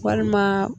Walima